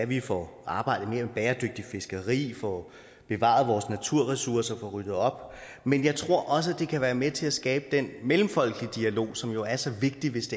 vi får arbejdet mere med bæredygtigt fiskeri får bevaret vores naturressourcer får ryddet op men jeg tror også det kan være med til at skabe den mellemfolkelige dialog som jo er så vigtig hvis